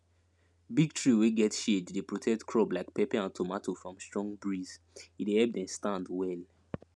big tree wey get shade dey protect crop like pepper and tomato from strong breezehe dey help them stand well